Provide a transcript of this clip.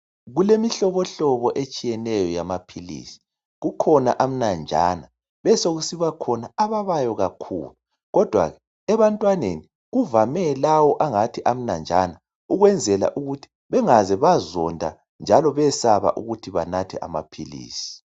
Kulemhlobomlobo etshiyeneyo yamaphilizi kukhona amnanjana besokusiba khona ababayo kakhulu kodwa ebantwaneni kuvame lawa angathi amnanjana ukwenzala ukuthi bengaze bazodwa njalo besabe ukunatha abaphilizi.